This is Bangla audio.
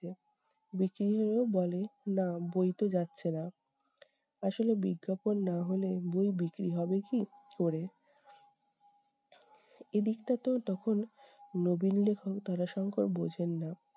বিক্রি হলেও বলে- নাহ বই তো যাচ্ছে না আসলে বিজ্ঞাপন না হলে বই বিক্রি হবে কী করে? এদিকটাতেও তখন নবীন লেখক তারাশঙ্কর বোঝেন না